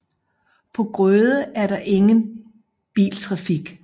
På Grøde er der ingen biltrafik